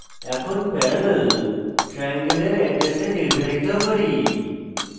এখন parallel triangle এর এড্রেসে নির্ধারিত করি